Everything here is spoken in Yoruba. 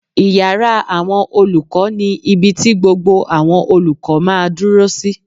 Ìyàrá àwọn olùkọ́ ni ibi ti gbogbo àwọn olùkọ́ máa dúró sí